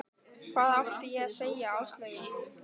Hvað átti ég að segja Áslaugu?